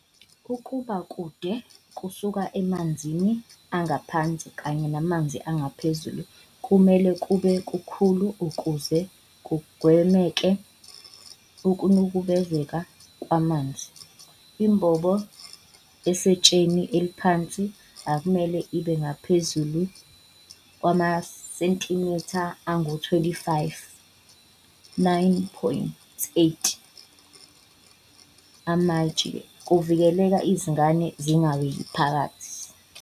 Ukuba kude kusuka emanzini angaphansi kanye namanzi angaphezulu kumele kube kukhulu ukuze kugwemeke ukunukubezeka kwamanzi. Imbobo esetsheni eliphansi akumele ibe ngaphezulu kwamasentimitha angama-25, 9.8 amatshe, ukuvikela izingane zingaweli phakathi.